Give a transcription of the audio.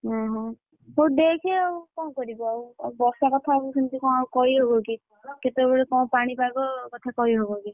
ଉହୁଁ ହଉ ଦେଖେ ଆଉ କଣ କରିବୁ ଆଉ, ଆଉ ବର୍ଷା କଥା ଆଉ କଣ ସେମତି କହିହବ କି କଣ? କେତବେଳେ କଣ ପାଣିପାଗ କଥା କହିହବ କି?